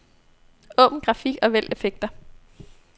Åbn grafik og vælg effekter.